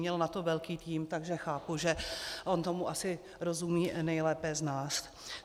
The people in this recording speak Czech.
Měl na to velký tým, takže chápu, že on tomu asi rozumí nejlépe z nás.